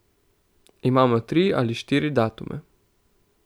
Imamo tri ali štiri datume.